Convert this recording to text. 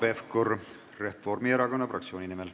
Hanno Pevkur Reformierakonna fraktsiooni nimel.